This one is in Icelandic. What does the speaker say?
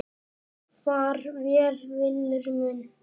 Far vel, vinur minn.